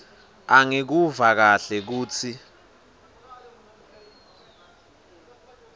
angikuva kahle kutsi